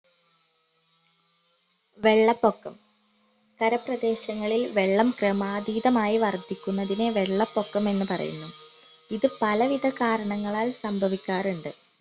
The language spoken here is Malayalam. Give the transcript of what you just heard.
വെള്ളപൊക്കം കരപ്രദേശങ്ങളിൽ വെള്ളം ക്രമാതീതമായി വർധിക്കുന്നതിന് വെള്ളപൊക്കം എന്ന് പറയുന്നു ഇത് പലവിധ കാരണങ്ങളാൽ സംഭവിക്കാറുണ്ട്